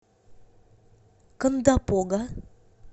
кондопога